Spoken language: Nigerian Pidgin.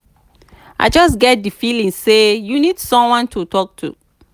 i just get di feeling say you need someone to talk to.